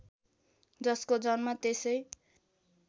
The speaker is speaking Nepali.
जसको जन्म त्यसै